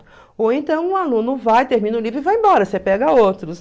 Ou então um aluno vai, termina o livro e vai embora, você pega outros.